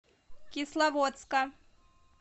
кисловодска